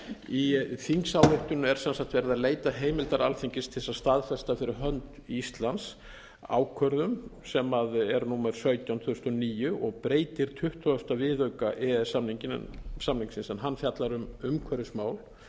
í þingsályktuninni er sem sagt verið að leita heimildar alþingis til þess að staðfesta fyrir hönd íslands ákvörðun sem er númer sautján tvö þúsund og níu og breytir tuttugasta viðauka e e s samningsins en hann fjallar um umhverfismál það er verið að